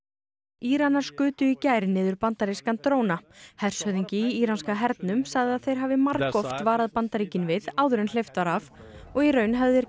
Íranar skutu í gær niður bandarískan dróna hershöfðingi í íranska hernum sagði að þeir hafi margoft varað Bandaríkin við áður en hleypt var af og í raun hefðu þeir